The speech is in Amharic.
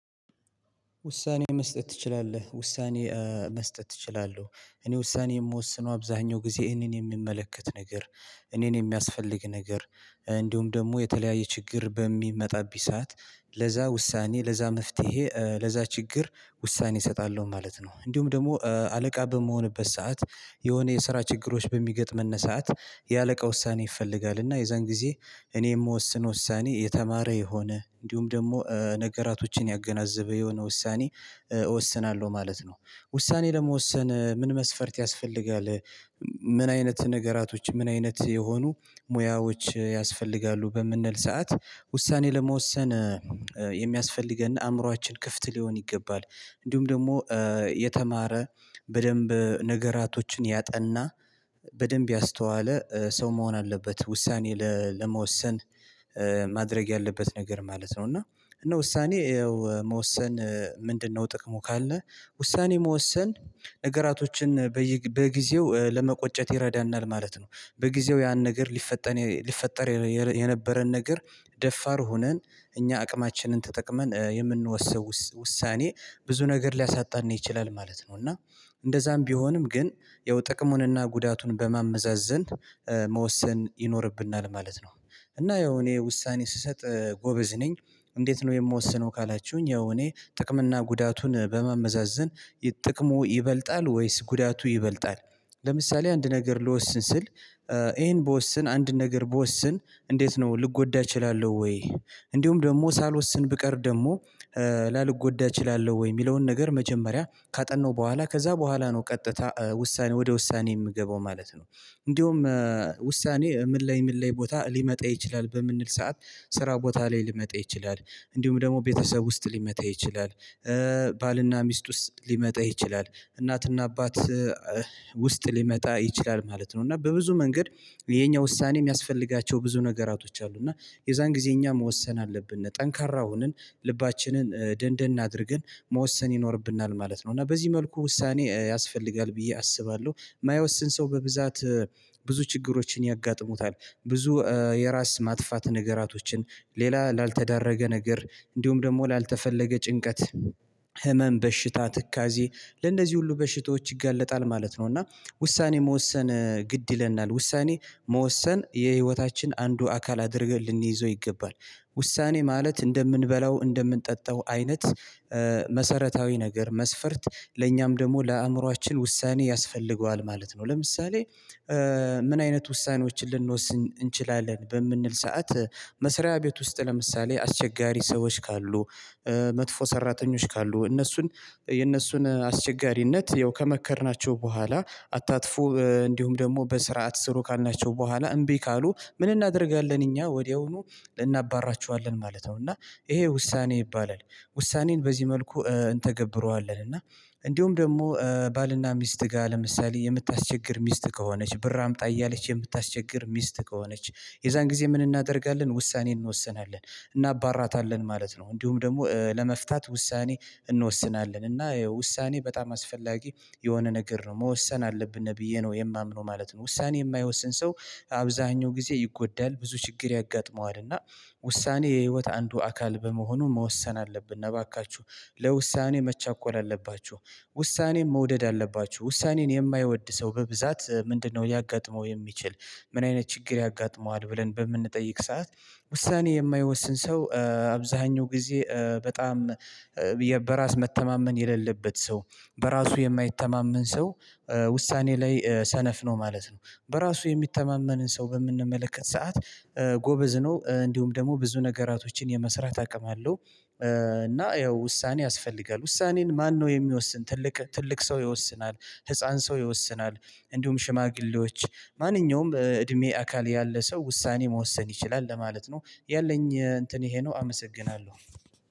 ውሳኔ መስጠት ትችላለህ? ውሳኔ መስጠት አችላለሁ እኔ ውሳኔ የምወስነው አብዛሀኛው ጊዜ እኔን የምመለከት ነገር እኔን የሚያስፈልግ ነገር እንዲሁም ደግሞ የተለያየ ችግር በሚመጣብኝ ሰዓት ለዛ ውሳኔ ለዛ መፍትሄ ለዛ ችግር ውሳኔ እሰጣለሁ ማለት ነው እንዲሁም ደግሞ አለቃ በመሆንበት ሰዓት የሆነ የስራ ችግሮች በሚገጥምን ሰዓት የአለቃ ውሳኔ ይፈልጋል እና የዛን ጊዜ እኔ የምወስነው ውሳኔ የተማረ የሆነ እንዲሁም ደግሞ ነገራቶችን ያገናዘበ የሆነ ውሳኔ እወስናለሁ ማለት ነው። ውሳኔ ለመወሰን ምን መስፈርት ያስፈልጋል? ምን አይነት ነገራቶች ምን አይነት የሆኑ ሙያዎች ያስፈልጋሉ? በምንል ሰዓት ውሳኔ ለመወሰን የሚያስፈልገን አእምሮአችን ክፍት ሊሆን ይገባል እንዲሁም ደግሞ የተማረ በደንብ ነገራቶችን ያጠና በደንብ ያስተዋለ ሰው መሆን አለበት ውሳኔ ለመወሰን ማድረግ ያለበት ነገር ማለት ነው። እና እነ ውሳኔ ያው መወሰን ምንድነው? ጥቅሙ ካልን ውሳኔ መወሰን ነገራቶችን በጊዜው ለመቆጨት ይረዳናል ማለት ነው። በጊዜው ያን ነገር ሊፈጠር ሊፈጠር የነበረን ነገር ደፋር ሆነን እኛ አቅማችንን ተጠቅመን የምንወስነው ውሳኔ ብዙ ነገር ሊያሳጣን ይችላል ማለት ነው። እና እንደዛም ቢሆንም ግን ያው ጥቅሙንና ጉዳቱን በማመዛዘን መወሰን ይኖርብናል ማለት ነው። እና ያው እኔ ውሳኔ ስሰጥ ጎበዝ ነኝ። እንዴት ነው የምወስነው ካላችሁኝ ያው እኔ ጥቅም እና ጉዳቱን በማመዛዘን ጥቅሙ ይበልጣል ወይስ ጉዳቱ ይበልጣል? ለምሳሌ አንድ ነገር ልወስን ስል ይሄን ብወስን አንድ ነገር ብወስን እንዴት ነው ልጎዳ እችላለሁ ወይ? እንዲሁም ደግሞ ሳልወስን ብቀር ደግሞ ላልጎዳ እችላለሁ ወይ? የሚለውን ነገር መጀመሪያ ካጠናው በኋላ ከዛ በኋላ ነው ቀጥታ ውሳኔ ወደ ውሳኔ እምገባው ማለት ነው። እንደውም ውሳኔ ምን ላይ ምን ላይ ቦታ ሊመጣ ይችላል? በምንል ሰዓት ስራ ቦታ ላይ ሊመጣ ይችላል። እንዲሁም ደግሞ ቤተሰብ ውስጥ ሊመጣ ይችላል። ባልና ሚስት ውስጥ ሊመጣ ይችላል እናትና አባት ውስጥ ሊመጣ ይችላል ማለት ነው። እና በብዙ መንገድ የኛ ውሳኔ የሚያስፈልጋቸው ብዙ ነገራቶች አሉ እና የዛን ጊዜ እኛ መወሰን አለብን ጠንካራ ሆንን ልባችንን ደንደን አድርገን መወሰን ይኖርብናል ማለት ነው። እና በዚህ መልኩ ውሳኔ ያስፈልጋል ብዬ አስባለሁ እማይወስን ሰው በብዛት ብዙ ችግሮችን ያጋጥሙታል ብዙ የራስ ማጥፋት ነገራቶችን ሌላ ላልተዳረገ ነገር እንዲሁም ደግሞ ላልተፈለገ ጭንቀት ህመም በሽታ ትካዜ ለእንደዚህ ሁሉ በሽታዎች ይጋለጣል ማለት ነው። እና ውሳኔ መወሰን ግድ ይለናል ውሳኔ መወሰን የህይወታችን አንዱ አካል አድርገን ልንይዘው ይገባል። ውሳኔ ማለት እንደምንበላው እንደምንጠጣው አይነት መሰረታዊ ነገር መስፈርት ለእኛም ደግሞ ለአእምሮአችን ውሳኔ ያስፈልገዋል ማለት ነው። ለምሳሌ ምን አይነት ውሳኔዎችን ልንወስን እንችላለን? በምንል ሰዓት መስሪያ ቤት ውስጥ ለምሳሌ አስቸጋሪ ሰዎች ካሉ መጥፎ ሰራተኞች ካሉ እነሱን የእነሱን አስቸጋሪነት ያው ከመከርናቸው በኋላ አታጥፎ እንዲሁም ደግሞ በስርዓት ስሩ ካልናቸው በኋላ እምቢ ካሉ ምን እናደርጋለን? እኛ ወዲያውኑ ልናባርራችኋለን ማለት ነው። እና ይሄ ውሳኔ ይባላል። ውሳኔን በዚህ መልኩ እንተገብረዋለን እና እንዲሁም ደግሞ ባልና ሚስት ጋር ለምሳሌ የምታስቸግር ሚስት ከሆነች ብር አምጣ እያለች የምታስቸግር ሚስት ከሆነች የዛን ጊዜ ምን እናደርጋለን? ውሳኔ እንወስናለን እናባርራታለን ማለት ነው። እንዲሁም ደግሞ ለመፍታት ውሳኔ እንወስናለን እና ውሳኔ በጣም አስፈላጊ የሆነ ነገር ነው መወሰን አለብን ብዬ ነው የማምነው ማለት ነው። ውሳኔ የማይወስን ሰው አብዛኛው ጊዜ ይጎዳል ብዙ ችግር ያጋጥመዋል። እና ውሳኔ የህይወት አንዱ አካል በመሆኑ መወሰን አለብን። እባካችሁ ለውሳኔ መቻኮል አለባችሁ። ውሳኔም መውደድ አለባችሁ ውሳኔን የማይወድ ሰው በብዛት ምንድነው? ሊያጋጥመው የሚችል ምን አይነት ችግር ያጋጥመዋል? ብለን በምንጠይቅ ሰዓት ውሳኔ የማይወስን ሰው አብዛኛው ጊዜ በጣም በራስ መተማመን የሌለበት ሰው በራሱ የማይተማመን ሰው ውሳኔ ላይ ሰነፍ ነው ማለት ነው። በራሱ የሚተማመንን ሰው በምንመለከት ሰዓት ጎበዝ ነው እንዲሁም ደግሞ ብዙ ነገራቶችን የመስራት አቅም አለው። እና ያው ውሳኔ ያስፈልጋል። ውሳኔን ማነው የሚወስን ትልቅ ትልቅ ሰው ይወስናል። ህፃን ሰው ይወስናል። እንዲሁም ሽማግሌዎች ማንኛውም እድሜ አካል ያለ ሰው ውሳኔ መወሰን ይችላል ለማለት ነው። ያለኝ እንትን ይሄ ነው አመሰግናለሁ